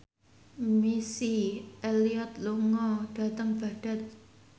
Missy Elliott lunga dhateng Baghdad